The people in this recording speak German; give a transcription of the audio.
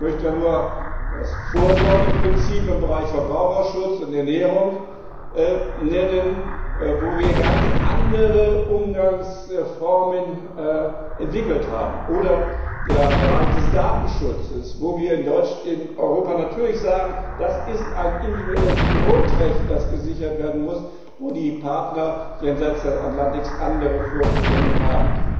Ich möchte da nur das Vorsorgeprinzip im Bereich Verbraucherschutz und Ernährung nennen, wo wir ganz andere Umgangsformen entwickelt haben, oder den Bereich des Datenschutzes, wo wir in Europa natürlich sagen, das ist ein individuelles Grundrecht, das gesichert werden muss, wo die Partner jenseits des Atlantiks aber andere Vorstellungen haben.